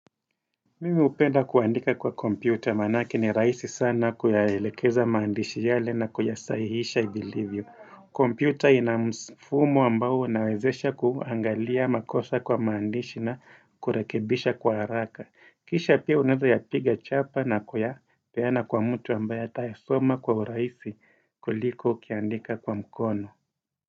Mimi hpenda kuandika kwa kompyuta, manake ni rahisi sana kuyaelekeza maandishi yale na kuyasaihisha, vilivyo kompyuta inafumo ambao unawezesha kuangalia makosa kwa maandishi na kurekebisha kwa haraka. Kisha pia unaeza yapiga chapa na kuya peana kwa mtu ambaya ataye soma kwa uraisi kuliko ukiandika kwa mkono.